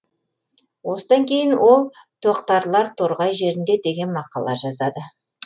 осыдан кейін ол тоқтарлар торғай жерінде деген мақала жазады